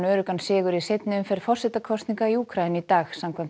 öruggan sigur í seinni umferð forsetakosninga í Úkraínu í dag samkvæmt